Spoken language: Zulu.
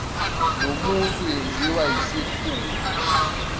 nomuntu yenziwa yisikhulu